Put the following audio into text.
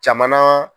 Jamana